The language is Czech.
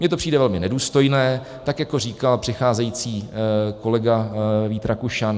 Mně to přijde velmi nedůstojné, tak jako říkal přicházející kolega Vít Rakušan.